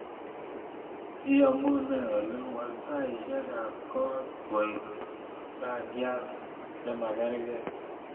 Iyamunee oli waal taishekab koot koek rangyat chemagergei